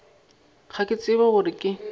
ga ke tshepe gore ke